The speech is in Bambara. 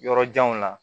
Yɔrɔ janw la